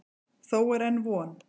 Þó er enn von.